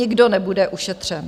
Nikdo nebude ušetřen.